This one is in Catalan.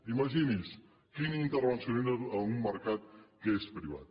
imagini’s quin intervencionisme en un mercat que és privat